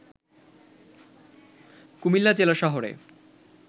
কুমিল্লা জেলা শহরে